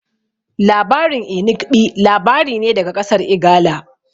Labarin Inigɓi labari ne daga ƙasar Igala